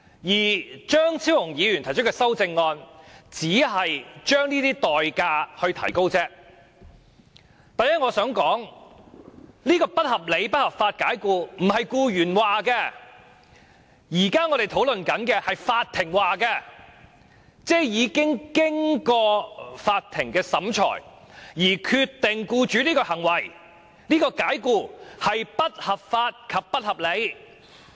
我想說的第一點是，我們現在討論的不合理及不合法解僱，不是僱員說的，而是法庭說的，即經過法庭審理，並裁定僱主的解僱為不合理及不合法。